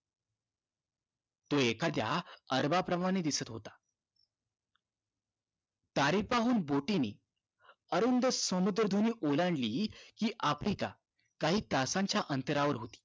तो एखाद्या अरबाप्रमाणे दिसत होता सारे पाहून बोटीने अरुंद सामुद्रधुनी ओलांडली कि आफ्रिका काही तासांच्या अंतरावर होती